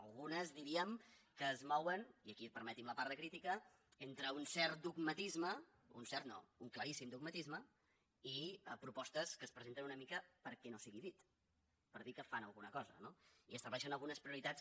algunes diríem que es mouen i aquí permeti’m la part de crítica entre un cert dogmatisme un cert no un claríssim dogmatisme i propostes que es presenten una mica perquè no sigui dit per dir que fan alguna cosa no i estableixen algunes prioritats que